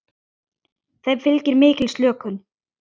Þeim fylgir mikil slökun.